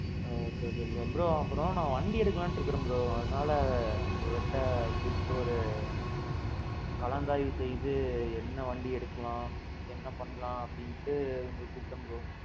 ஆ okay okay bro. bro! அப்பறோம் நான் வண்டி எடுக்கலாம்ண்டு இருக்கிறேன் bro. அதனால உங்கட்ட கூப்டு ஒரு கலந்தாய்வு செய்து என்ன வண்டி எடுக்கலாம். என்ன பண்ணலாம் அப்டிண்டு உங்கள கூப்பிட்டேன் bro.